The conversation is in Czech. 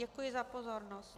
Děkuji za pozornost.